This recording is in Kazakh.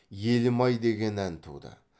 елім ай деген ән туды